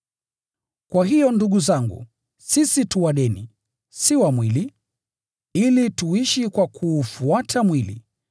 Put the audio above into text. Kwa hiyo ndugu zangu, sisi tu wadeni, si wa mwili, ili tuishi kwa kuufuata mwili,